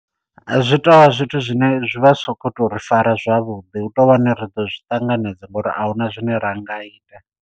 Zwi tovha zwithu zwine zwi vha zwi so kho to ri fara zwavhuḓi hu tou vhani ri ḓo zwi ṱanganedza ngori ahuna zwine ra nga ita.